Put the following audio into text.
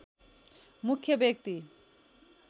मुख्य व्यक्ति